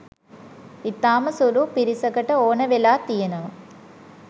ඉතාම සුළු පිරිසකට ඕන වෙලා තියෙනවා